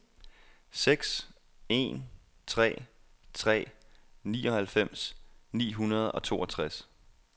seks en tre tre nioghalvfems ni hundrede og toogtres